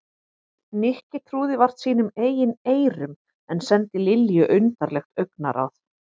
Nikki trúði vart sínum eigin eyrum en sendi Lilju undarlegt augnaráð.